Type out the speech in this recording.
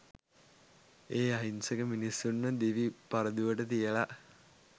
ඒ අහිංසක මිනිස්සුන්ව දිවි පරදුවට තියල